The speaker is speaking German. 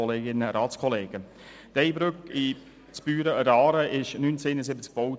der BaK. Die Ey-Brücke in Büren an der Aare wurde 1971 gebaut.